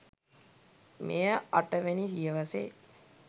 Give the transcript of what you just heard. මෙය අට වැනි සියවසේ